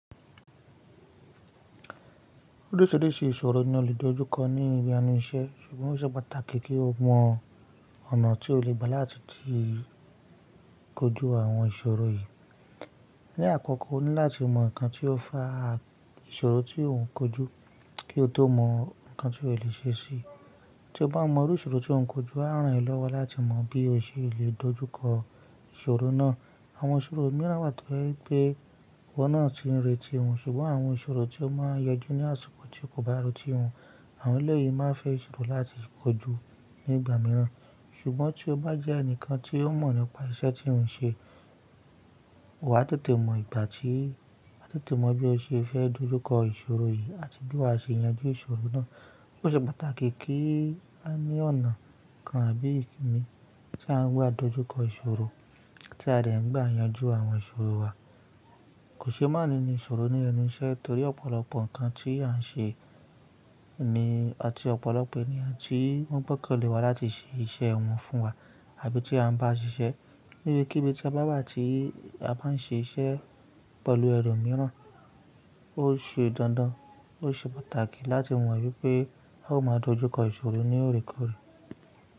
Orísìírísìí ìṣòro ni a lè dojúkọ ní ibi ẹnu iṣẹ́ ṣùgbọ́n ó ṣe pàtàkì kí o mọ ọ̀nà tí ó legba láti ti kojú àwọn ìṣòro yìí. Ni àkọ́kọ́, o ní láti mọ nǹkan tí ó fa ìṣòro tí ò ń kojú kí o tó mọ nǹkan tí ó lè ṣe sí i. Tí o bá mọ irú ìṣòro tí ò ń kojú, a rán ẹ lọ́wọ́ láti mọ bí o ṣe lè dojúkọ ìṣòro náà. Àwọn ìṣòro mìíràn wa to jẹ́ wípé, iwọ́ náà ti ń retí wọn ṣùgbọ́n àwọn ìṣòro tí ó máa yọjú ní àsìkò tí kò bá retí wọn. Àwọn ẹlẹ́yìí máa ń fẹ́ ìṣòro láti kojú ní ìgbà mìíràn. Ṣùgbọ́n tí o bá jẹ́ ẹnìkan tí ó mọ̀ nípa iṣẹ́ tí ó ń ṣe, wà tètè mọ ìgbà tí, wà tètè mọ bí o ṣe fẹ́ dojúkọ ìṣòro yìí àti bí wà á ṣe yanjú ìṣòro náà. Ó ṣe pàtàkì kí á ní ọ̀nà kan àbí ìkíni tí á ń gba dojúkọ ìṣòro tí a de ń gba yanjú àwọn ìṣòro wa. Kò ṣe má ní ní ìṣòro ní ẹnu iṣẹ́, torí ọ̀pọ̀lọpọ̀ nǹkan tí à ń ṣe ni àti ọ̀pọ̀lọpọ̀ ènìyàn tí wọ́n gbọ́kànlé wa láti ṣe iṣẹ́ wọn fún wa àbí tí a ń bá ṣiṣẹ́. Níbi kíbí tí a bá wà tí a bá ń ṣe iṣẹ́ pẹ̀lú ẹlòmíràn, ó ṣe dandan ó ṣe pàtàkì láti mọ wípé á o máa dojúkọ ìṣòro ní òrèkòrè.